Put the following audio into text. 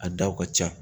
A daw ka ca